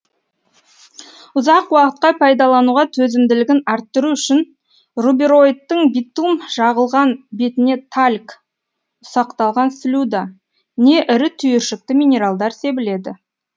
ұзақ уақытқа пайдалануға төзімділігін арттыру үшін рубероидтың битум жағылған бетіне тальк ұсақталған слюда не ірі түйіршікті минералдар себіледі